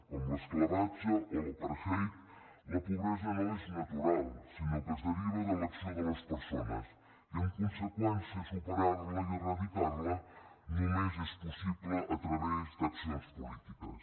com l’esclavatge o l’apartheid la pobresa no és natural sinó que es deriva de l’acció de les persones i en conseqüència superar la i eradicar la només és possible a través d’accions polítiques